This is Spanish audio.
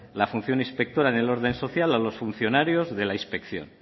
la función inspectora en el orden social a los funcionarios de la inspección